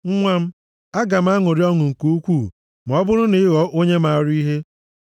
Nwa m, aga m aṅụrị ọṅụ nke ukwuu ma ọ bụrụ na ị ghọọ onye maara ihe.